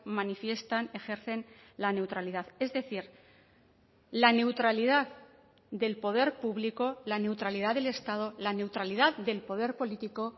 manifiestan ejercen la neutralidad es decir la neutralidad del poder público la neutralidad del estado la neutralidad del poder político